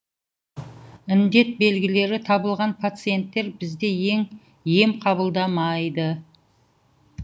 індет белгілері табылған пациенттер бізде ем қабылдамайды